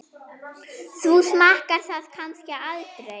Þú smakkar það kannski aldrei?